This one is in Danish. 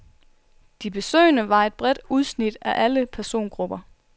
De besøgende var et bredt udsnit af alle persongrupper.